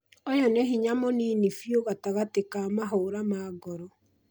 ũyũ nĩ hinya mũnini biũ gatagatĩ ka mahũra ma ngoro